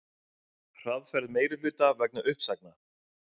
Hraðferð meirihluta vegna uppsagna